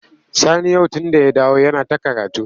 Sani yau tunda ya dawo yana ta karatu.